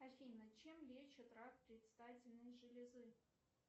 афина чем лечат рак предстательной железы